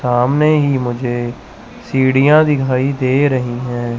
सामने ही मुझे सीढ़ियां दिखाई दे रही हैं।